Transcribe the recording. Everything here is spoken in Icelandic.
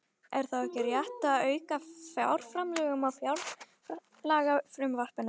Er þá ekki rétt að auka fjárframlögin á fjárlagafrumvarpinu?